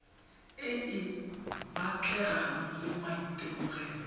e e batlegang le maitemogelo